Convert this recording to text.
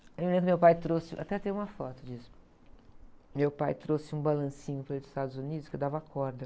Eu lembro que meu pai trouxe, até tem uma foto disso, meu pai trouxe um balancinho para ele, dos Estados Unidos que eu dava corda.